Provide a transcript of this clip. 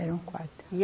Eram quatro.